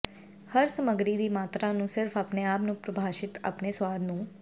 ਹਰ ਸਮੱਗਰੀ ਦੀ ਮਾਤਰਾ ਨੂੰ ਸਿਰਫ ਆਪਣੇ ਆਪ ਨੂੰ ਪ੍ਰਭਾਸ਼ਿਤ ਆਪਣੇ ਸੁਆਦ ਨੂੰ